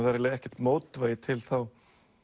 eiginlega ekkert mótvægi til þá